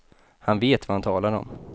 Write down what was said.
Han vet vad han talar om.